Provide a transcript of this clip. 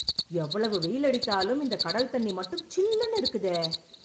எவ்வளவு வெயில் அடித்தாலும் இந்த கடல் தண்ணி மட்டும் சில்லுன்னு இருக்குதே